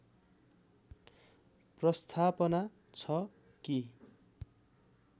प्रस्थापना छ कि